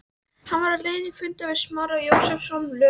Hann var á leið til fundar við Smára Jósepsson, lög